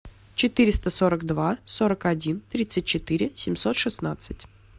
четыреста сорок два сорок один тридцать четыре семьсот шестнадцать